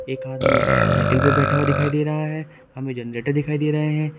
एक आदमी साइकल पर बैठा हुआ दिखाई दे रहा है हमें जनरेटर दिखाई दे रहे हैं।